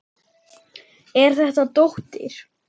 Er þetta dóttir.